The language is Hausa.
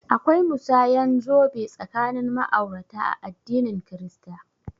Akwai musanyan zobe tsakanin ma'aurata a addinin kirista